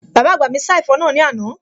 Bàbá àgbà mi sá ẹ̀fọ́ náà ní àná